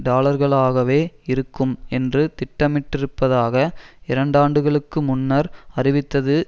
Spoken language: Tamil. டாலர்களாகவே இருக்கும் என்று திட்டமிட்டிருப்பதாக இரண்டாண்டுகளுக்கு முன்னர் அறிவித்தது